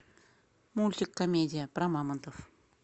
мультик комедия про мамонтов